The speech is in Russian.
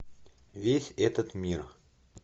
весь этот мир